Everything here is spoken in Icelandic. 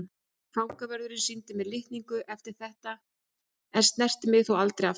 Fangavörðurinn sýndi mér fyrir litningu eftir þetta en snerti mig þó aldrei aftur.